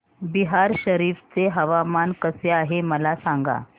बिहार शरीफ चे हवामान कसे आहे मला सांगा